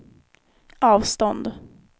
avstånd